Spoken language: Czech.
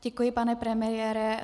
Děkuji, pane premiére.